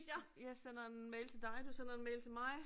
Jeg sender en mail til dig, du sender en mail til mig